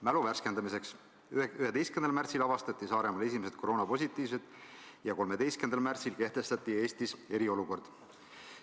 Mälu värskendamiseks: 11. märtsil avastati Saaremaal esimesed koroonapositiivsed ja 13. märtsil kehtestati Eestis eriolukord.